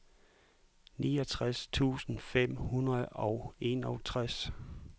niogtres tusind fem hundrede og enogtres